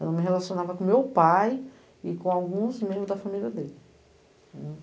Eu me relacionava com meu pai e com alguns membros da família dele.